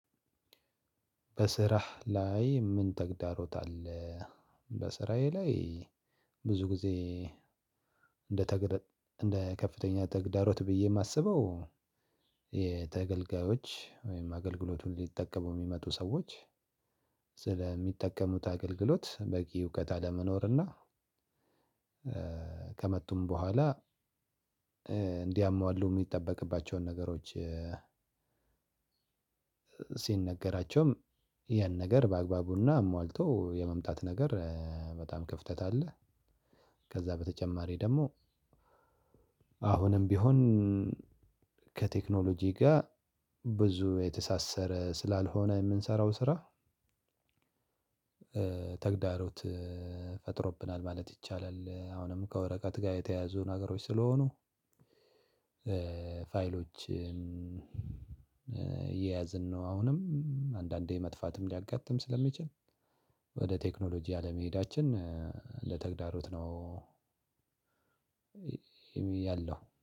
በስራህ ላይ ምን ተግዳሮት አለ? በስራዬ ላይ ብዙ ጊዜ እንደ ከፍተኛ ተግዳሮት ብዬ እማስበው የተገልጋዮች ወይም አገልግሎቱን ሊጠቀሙ የሚመጡ ሰዎች ስለሚጠቀሙት አገልግሎት በቂ እውቀት አለመኖር እና ከመጡም በኋላ እንዲያሟሉ እሚጠበቅባቸውን ነገሮች ሲነገራቸውም ያን ነገር በአግባቡ እና አሟልቶ የመምጣት ነገር በጣም ክፍተት አለ። ከዛ በተጨማሪ ደሞ አሁንም ቢሆን ከቴክኖሎጂ ጋ ብዙ የተሳሰረ ስላልሆነ የምንሰራው ስራ ተግዳሮት ፈጥሮብናል ማለት ይቻላል። አሁንም ከወረቀት ጋ የተያያዙ ነገሮች ስለሆኑ ፋይሎችን እየያዝን ነው አሁንም አንዳንዴ መጥፋትም ሊያጋጥም ስለሚችል ወደ ቴክኖሎጂ አለመሄዳችን ለተግዳሮት ነው። ያለው